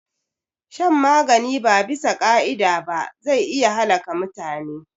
Shan magani ba abisa ka'ida ba zai iya halaka mutune